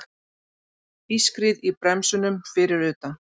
Ískrið í bremsunum fyrir utan.